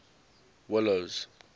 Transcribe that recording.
willows